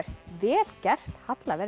vel gert Halla verð